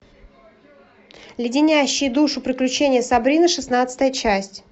леденящие душу приключения сабрины шестнадцатая часть